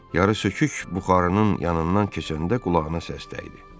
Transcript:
Yarısökük buxarının yanından keçəndə qulağına səs dəydi.